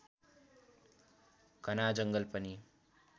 घना जङ्गल पनि